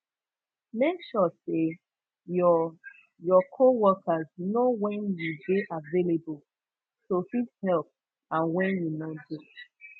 mek sure say your your co workers know wen you de available to fit help and when you no de